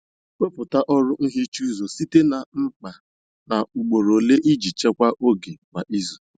Wepụta ọrụ nhicha ụzọ site na mkpa na ugboro ole iji chekwaa oge kwa izu.